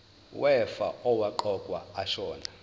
wefa owaqokwa ashona